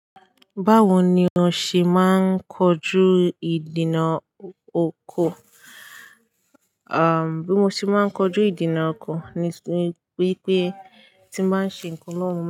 Báwoni o ṣe máa ń kojú ìdènà oko? Bí mo ṣe máa ń kojú ìdènà oko ni wípé tí ba n se ǹkan lówo.